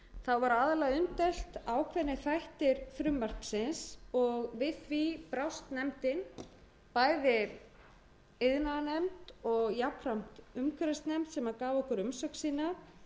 það var aðallega deilt um nokkra þætti frumvarpsins og við því brást nefndin bæði iðnaðarnefnd og jafnframt umhverfisnefnd sem gaf okkur umsögn sína